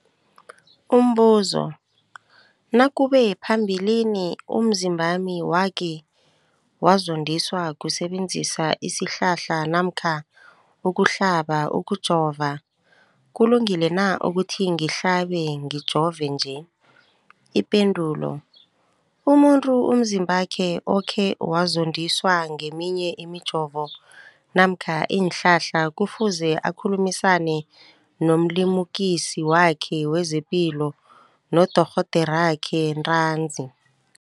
Umbuzo, nakube phambilini umzimbami wakhe wazondiswa kusebenzisa isihlahla namkha ukuhlaba, ukujova, kulungile na ukuthi ngihlabe, ngijove nje? Ipendulo, umuntu umzimbakhe okhe wazondiswa ngeminye imijovo namkha iinhlahla kufuze akhulumisane nomlimukisi wakhe wezepilo, nodorhoderakhe ntanzi.